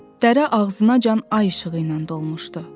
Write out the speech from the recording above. Dərə ağzınacan ay işığı ilə dolmuşdu.